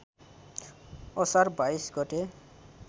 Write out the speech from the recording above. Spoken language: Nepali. असार २२ गते